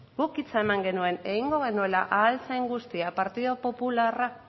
guk hitza eman genuen egingo genuela ahal zen guztia partidu popularra